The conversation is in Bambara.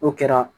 N'o kɛra